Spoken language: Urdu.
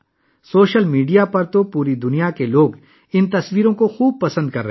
سوشل میڈیا پر دنیا بھر سے لوگ ان تصاویر کو پسند کر رہے ہیں